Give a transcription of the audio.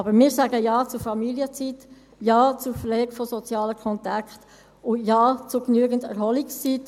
Aber wir sagen Ja zur Familienzeit, Ja zur Pflege von sozialen Kontakten und Ja zu genügend Erholungszeit.